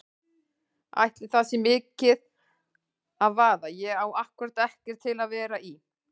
Ætli það sé mikið að vaða, ég á ákkúrat ekkert til að vera í.